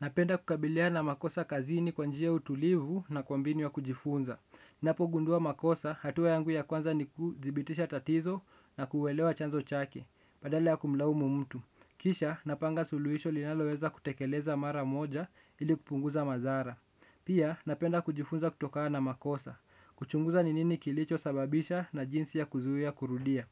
Napenda kukabiliana makosa kazini kwa njia ya utulivu na kwa mbinu ya kujifunza. Napogundua makosa, hatua yangu ya kwanza ni kuthibitisha tatizo na kuelewa chanzo chake, badala ya kumlaumu mtu. Kisha, napanga suluhisho linaloweza kutekeleza mara moja ili kupunguza madhara. Pia, napenda kujifunza kutokana na makosa. Kuchunguza ni nini kilicho sababisha na jinsi ya kuzuia kurudia.